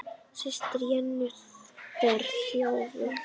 Systir Jennu er þjófur.